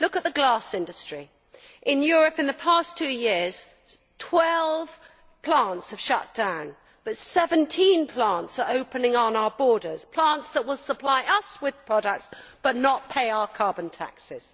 Look at the glass industry. In Europe in the past two years, 12 plants have shut down but 17 plants are opening on our borders, plants that will supply us with products but will not pay our carbon taxes.